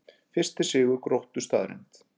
Fyrsti sigur Gróttu staðreynd